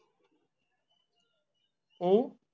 हम्म